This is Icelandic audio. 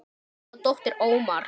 Anna dóttir Ómars.